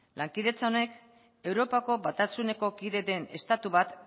lankidetza honek europako batasuneko kide den estatu bat